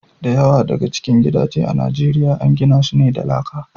Da yawa daga cikin gidaje a Nijeriya an gina su ne da laka.